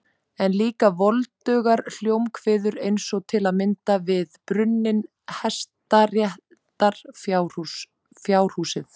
En líka voldugar hljómkviður eins og til að mynda við brunninn, hestaréttina, fjárhúsið.